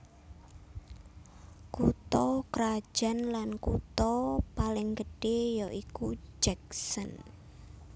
Kutha krajan lan kutha paling gedhé ya iku Jackson